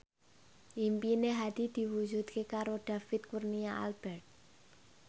impine Hadi diwujudke karo David Kurnia Albert